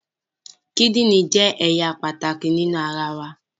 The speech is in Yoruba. The kidney is a very important part of our body